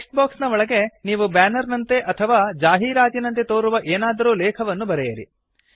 text box ನ ಒಳಗಡೆ ನೀವು ಬ್ಯಾನರ್ ನಂತೆ ಅಥವಾ ಜಾಹೀರಾತಿನಂತೆ ತೋರುವ ಏನಾದರೂ ಲೇಖವನ್ನು ಬರೆಯಿರಿ